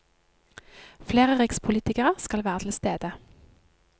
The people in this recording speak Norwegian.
Flere rikspolitikere skal være til stede.